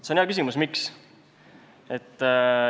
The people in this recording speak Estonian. See on hea küsimus, et miks.